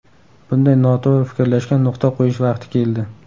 Bunday noto‘g‘ri fikrlashga nuqta qo‘yish vaqti keldi.